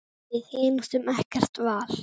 Við hin áttum ekkert val.